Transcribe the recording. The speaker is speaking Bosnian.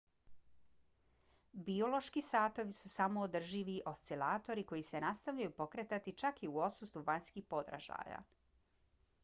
biološki satovi su samoodrživi oscilatori koji se nastavljaju pokretati čak i u odsustvu vanjskih podražaja